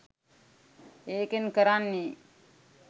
ඒකෙන් කරන්නේ